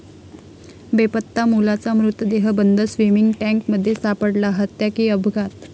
बेपत्ता मुलाचा मृतदेह बंद स्विमिंग टँकमध्ये सापडला, हत्या की अपघात?